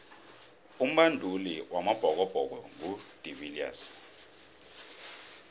umbanduli wamabhokobhoko ngu de viliers